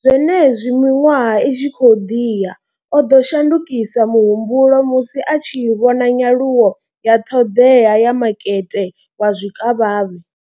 zwenezwi miṅwaha i tshi khou ḓi ya, o ḓo shandukisa muhumbulo musi a tshi vhona nyaluwo ya ṱhoḓea ya makete wa zwikavhavhe.